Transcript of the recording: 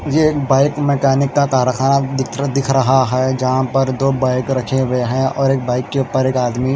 ये एक bike mechanic का कारखाना दिख दिख रहा है जहा दो बाइक रखे हुए है और एक बाइक के उपर आदमी--